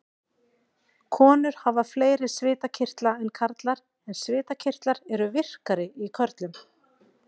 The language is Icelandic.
Konur hafa fleiri svitakirtla en karlar en svitakirtlar eru virkari í körlum.